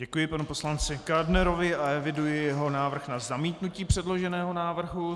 Děkuji panu poslanci Kádnerovi a eviduji jeho návrh na zamítnutí předloženého návrhu.